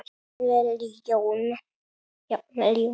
Jafnvel Jón